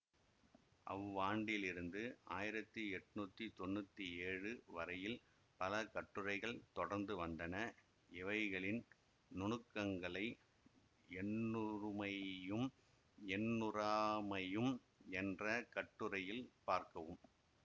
அவ்வாண்டிலிருந்து ஆயிரத்தி எட்ணூத்தி தொன்னூத்தி ஏழு வரையில் பல கட்டுரைகள் தொடர்ந்து வந்தன இவைகளின் நுணுக்கங்களை எண்ணுறுமையும் எண்ணுறாமையும் என்ற கட்டுரையில் பார்க்கவும்